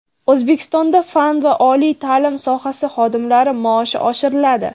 O‘zbekistonda fan va oliy ta’lim sohasi xodimlari maoshi oshiriladi.